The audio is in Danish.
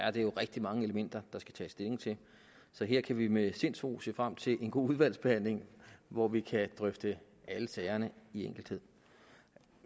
er det jo rigtig mange elementer der skal tages stilling til så her kan vi med sindsro se frem til en god udvalgsbehandling hvor vi kan drøfte alle sagerne i enkeltheder